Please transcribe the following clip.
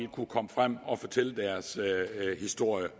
kunne komme frem og fortælle deres historie